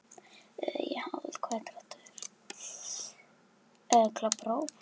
Stendur ykkur á sama?